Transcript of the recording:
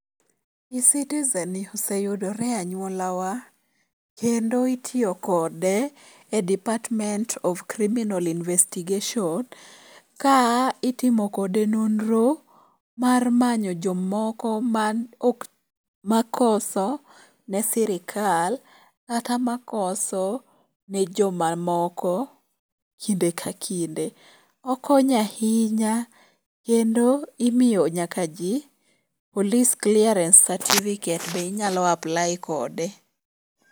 E-citizen ni oseyudore e anyuolawa. Kendo itiyokode e department of criminal investigation ka itimo kode nonro mar manyo jomoko man ok ma koso ne sirkal kata makoso ne jomamoko kinde ka kinde. Okonyo ahinya kendo imiyo nyaka ji police clearence certificate be inyalo apply kode.